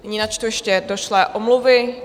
Nyní načtu ještě došlé omluvy.